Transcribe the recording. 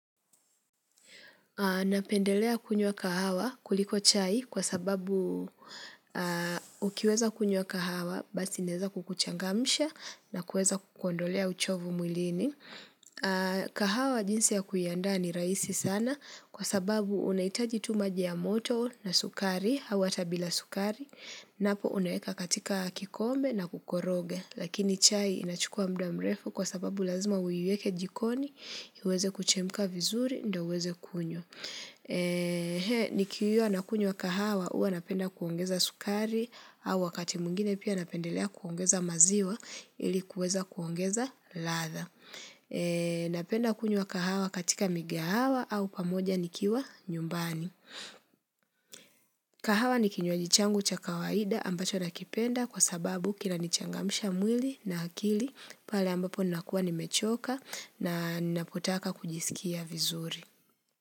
Napendelea kunywa kahawa kuliko chai kwa sababu ukiweza kunywa kahawa basi inaeza kukuchangamsha na kuweza kukuondolea uchovu mwilini kahawa jinsi ya kuiandaa ni rahisi sana kwa sababu unahitaji tu maji ya moto na sukari au hata bila sukari napo unaweka katika kikombe na kukoroga lakini chai inachukua muda mrefu kwa sababu lazima uiweke jikoni iweze kuchemka vizuri ndio uweze kunywa nikiwa nakunywa kahawa huwa napenda kuongeza sukari au wakati mwingine pia napendelea kuongeza maziwa ili kuweza kuongeza ladha Napenda kunywa kahawa katika migahawa au pamoja nikiwa nyumbani kahawa ni kinywaji changu cha kawaida ambacho nakipenda kwa sababu kinanichangamsha mwili na akili pale ambapo nakuwa nimechoka na napotaka kujisikia vizuri.